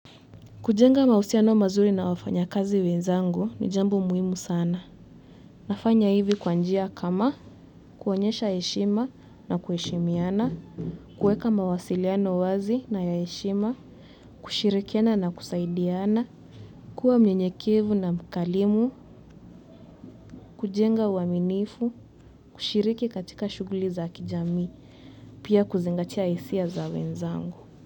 Kujenga mausiano mazuri na wafanya kazi wenzangu ni jambo muhimu sana. Nafanya hivi kwa njia kama kuonyesha heshima na kuheshimiana, kueka mawasiliano wazi na ya eshima, kushirikiana na kusaidiana, kuwa mnyenyekevu na mkarimu, kujenga uaminifu, kushiriki katika shuguli za kijami, pia kuzingatia hisia za wenzangu.